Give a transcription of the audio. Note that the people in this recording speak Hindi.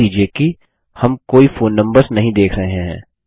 ध्यान दीजिये कि हम कोई फोन नम्बर्स नहीं देख रहे हैं